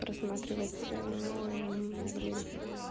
рассматривается а блин